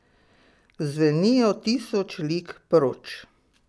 Zvenijo tisoč lig proč.